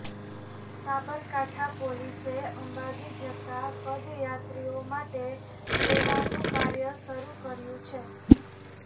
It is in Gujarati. સાબરકાંઠા પોલીસે અંબાજી જતા પદયાત્રીઓ માટે સેવાનું કાર્ય શરૂ કર્યુ છે